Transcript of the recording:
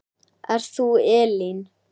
Ert þú Elín?